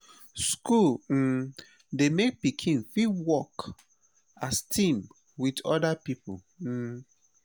school um dey make pikin fit work as team with oda pipo um